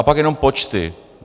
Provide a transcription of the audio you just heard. A pak jenom počty.